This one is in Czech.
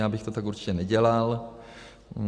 Já bych to tak určitě nedělal.